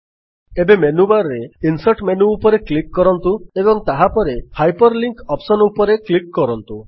ଏବେ ମେନ୍ୟୁବାର୍ ରେ insert menu ଉପରେ କ୍ଲିକ୍ କରନ୍ତୁ ଏବଂ ତାହାପରେ ହାଇପରଲିଙ୍କ୍ ଅପ୍ସନ୍ ଉପରେ କ୍ଲିକ୍ କରନ୍ତୁ